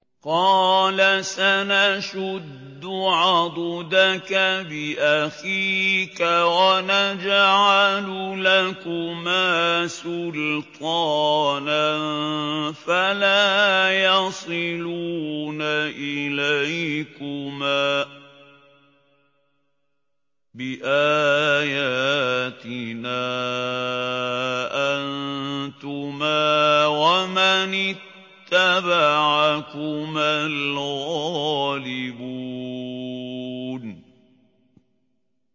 قَالَ سَنَشُدُّ عَضُدَكَ بِأَخِيكَ وَنَجْعَلُ لَكُمَا سُلْطَانًا فَلَا يَصِلُونَ إِلَيْكُمَا ۚ بِآيَاتِنَا أَنتُمَا وَمَنِ اتَّبَعَكُمَا الْغَالِبُونَ